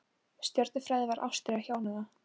Stjörnufræði var ástríða hjónanna.